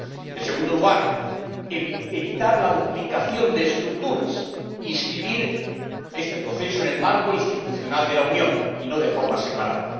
en segundo lugar, evitar la duplicación de estructuras e inscribir este proceso en el marco institucional de la Unión, y no de forma separada